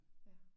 Ja